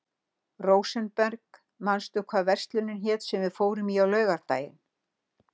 Rósenberg, manstu hvað verslunin hét sem við fórum í á laugardaginn?